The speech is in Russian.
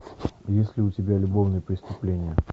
есть ли у тебя любовные преступления